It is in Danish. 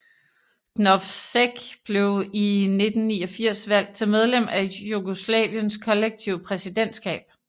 Drnovšek blev i 1989 valgt til medlem af Jugoslaviens kollektive præsidentskab